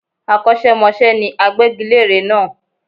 Akọ́ṣẹ́mọṣẹ́ ni agbégilére náà